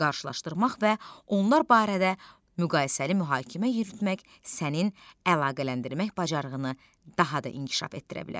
qarşılaşdırmaq və onlar barədə müqayisəli mühakimə yürütmək sənin əlaqələndirmək bacarığını daha da inkişaf etdirə bilər.